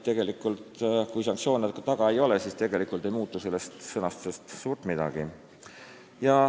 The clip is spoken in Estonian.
Tegelikult, kui sanktsioone taga ei ole, siis ei muutu sellest suurt midagi.